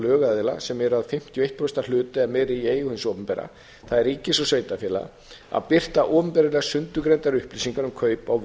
lögaðila sem eru að fimmtíu og eitt prósent hluta eða meira í eigu hins opinbera það er ríkis og sveitarfélaga að birta opinberlega sundurgreindar upplýsingar um kaup á